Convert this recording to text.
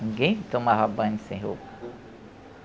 Ninguém tomava banho sem roupa.